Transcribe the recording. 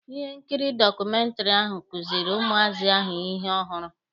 Ihe nkiri dọkụmentiri ahụ kuziiri ụmụazị ahụ ihe ọhụrụ.